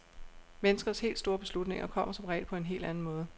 Menneskers helt store beslutninger kommer som regel på en helt anden måde.